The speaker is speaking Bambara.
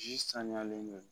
saniyalen don